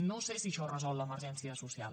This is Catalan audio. no sé si això resol l’emergència social